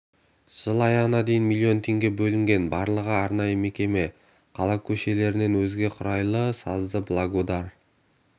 жыл аяғына дейін миллион теңге бөлінген барлығы арнайы мекеме қала көшелерінен өзге қурайлы сазды благодар